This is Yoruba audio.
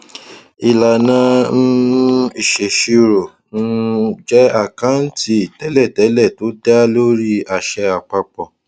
ìlànà um ìṣèṣirò um jẹ àkáǹtì tẹlétẹlé tó dáa lórí àṣẹ àpapọ